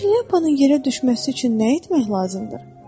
Bəs şlyapanın yerə düşməsi üçün nə etmək lazımdır?